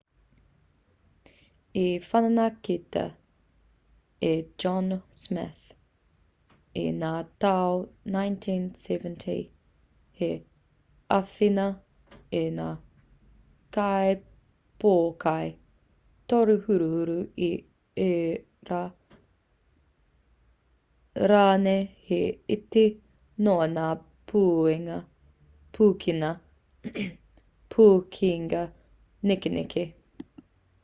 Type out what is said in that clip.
i whanaketia e john smith i ngā tau 1970 hei āwhina i ngā kaipōkai torehuruhuru i ērā rānei he iti noa ngā pūkenga nekeneke